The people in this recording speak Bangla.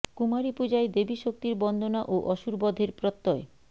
কুমারী পূজায় দেবী শক্তির বন্দনা ও অসুর বধের প্রত্যয়